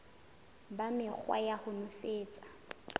ba mekgwa ya ho nosetsa